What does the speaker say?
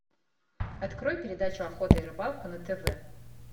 открой передачу охота и рыбалка на тв